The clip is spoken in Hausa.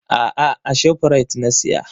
A'a, a Shoprite na siya.